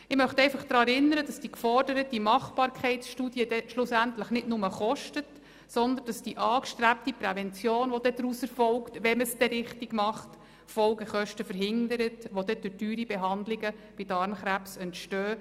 Ich möchte einfach daran erinnern, dass die geforderte Machbarkeitsstudie schlussendlich nicht nur kostet, sondern dass die angestrebte Prävention, die daraus folgt – wenn man sie denn auch richtig macht –, Folgekosten verhindert, die durch teure Behandlungen bei Darmkrebs entstehen;